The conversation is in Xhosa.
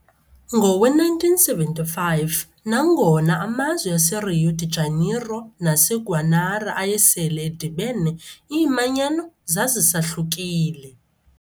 Ngowe-1975, nangona amazwe aseRio de Janeiro naseGuanara ayesele edibene, iimanyano zazisahlukile.